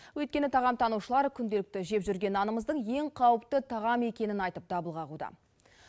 өйткені тағамтанушылар күнделікті жеп жүрген нанымыздың ең қауіпті тағам екенін айтып дабыл қағуда